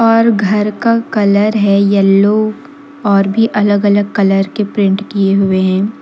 और घर का कलर है येलो और भी अलग अलग कलर के प्रिंट किए हुए हैं।